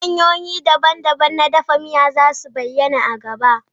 Hanyoyi daban-daban na dafa miya za su bayyana a nan gaba.